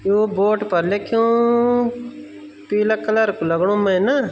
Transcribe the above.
यो boat पर लिख्यूं पीला कलर कु लगणु मै ना।